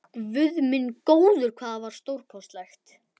Guð minn góður, hvað það var stórkostlegt!